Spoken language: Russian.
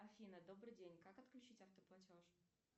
афина добрый день как отключить автоплатеж